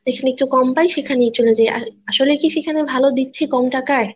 যেখানে একটু কম পায় সেখানেই চলে যায় আসলেই কি সেখানে ভালো দিচ্ছে কম টাকায়